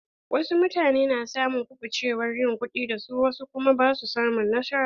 Wasu mutane na samun kubucewar yin kuɗi da su wasu kuma basu samun nasara.